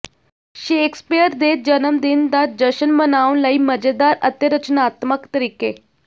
Shakespeare ਦੇ ਜਨਮਦਿਨ ਦਾ ਜਸ਼ਨ ਮਨਾਉਣ ਲਈ ਮਜ਼ੇਦਾਰ ਅਤੇ ਰਚਨਾਤਮਕ ਤਰੀਕੇ